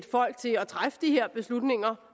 folk til at træffe de her beslutninger